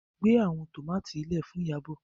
gbé àwọn tomati lẹẹ Fún Iyabo.